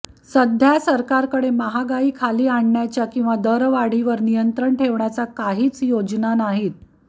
सध्या सरकारकडे महागाई खाली आणण्याच्या किंवा दरवाढीवर नियंत्रण ठेवण्याच्या काही योजनाच नाहीत